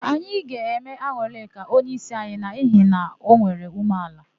Anyị ga-eme An̄ụlịka onyeísi anyi n'ihi na o nwere ume ala.